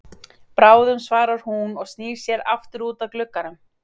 Bráðum svarar hún og snýr sér aftur út að glugganum.